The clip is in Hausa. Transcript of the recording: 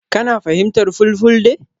Kana fahimtar Fulfulde?